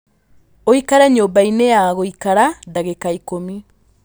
ũikare nyũmba-inĩ ya gũikara ndagĩka ikũmi